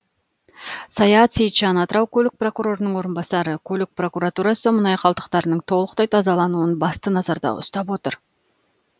саят сейітжан атырау көлік прокурорының орынбасары көлік прокуратурасы мұнай қалдықтарының толықтай тазалануын басты назарда ұстап отыр